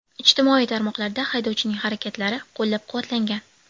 Ijtimoiy tarmoqlarda haydovchining harakatlari qo‘llab-quvvatlangan.